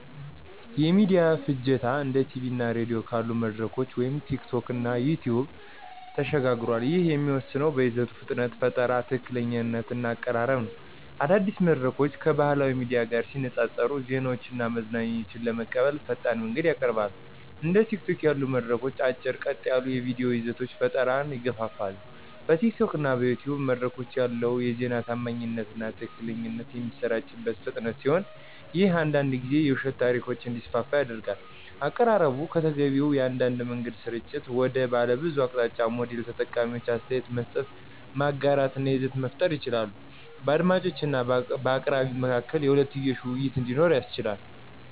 የሚዲያ ፍጆታ እንደ ቲቪ እና ራዲዮ ካሉ መድረኮች ወደ ቲኪቶክ እና ዩቲዩብ ተሸጋግሯል፤ ይህም የሚወሰነው በይዘቱ ፍጥነት፣ ፈጠራ፣ ትክክለኛነት እና አቀራረብ ነው። አዳዲስ መድረኮች ከባህላዊ ሚዲያ ጋር ሲነፃፀሩ ዜናዎችን እና መዝናኛዎችን ለመቀበል ፈጣን መንገድን ያቀርባሉ። እንደ ቲኪቶክ ያሉ መድረኮች አጭር፣ ቀጥ ያሉ የቪዲዮ ይዘቶች ፈጠራን ይገፋፋሉ። በቲኪቶክ እና ዩቲዩብ መድረኮች ላይ ያለው የዜና ታማኝነት እና ትክክለኛነት በሚሰራጭበት ፍጥነት ሲሆን ይህም አንዳንድ ጊዜ የውሸት ታሪኮች እንዲስፋፉ ያደርጋል። አቀራረቡ ከተገቢው የአንድ መንገድ ስርጭት ወደ ባለብዙ አቅጣጫዊ ሞዴል ተጠቃሚዎች አስተያየት መስጠት፣ ማጋራት እና ይዘት መፍጠር ይችላሉ። በአድማጮች እና በአቅራቢው መካከል የሁለትዮሽ ውይይት እንዲኖር ያስችላል።